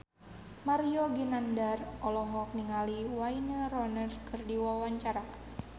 Mario Ginanjar olohok ningali Wayne Rooney keur diwawancara